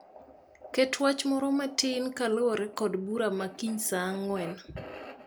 Ket wach moro matin kaluwore kod bura ma kiny saaang'wen.